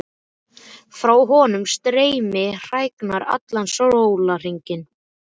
Frá honum streyma hræringar allan sólarhringinn.